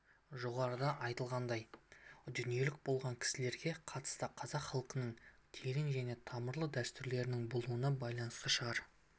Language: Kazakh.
жоғарыда айтылғандай дүниелік болған кісілерге қатысты қазақ халқының терең және тамырлы дәстүрлерінің болуына байланысты шығар